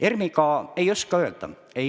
ERM-i kohta ei oska öelda.